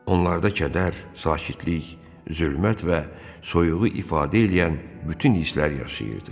Onlarda kədər, sakitlik, zülmət və soyuğu ifadə eləyən bütün hisslər yaşayırdı.